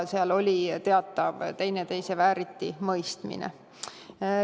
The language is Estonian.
Seal oli teatav teineteise vääritimõistmine.